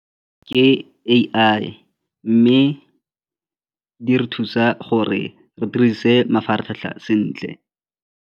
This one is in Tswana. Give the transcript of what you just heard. Ke A_I mme di re thusa gore re dirise mafaratlhatlha sentle.